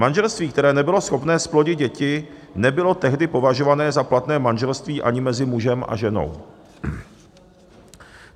Manželství, které nebylo schopné zplodit děti, nebylo tehdy považované za platné manželství ani mezi mužem a ženou.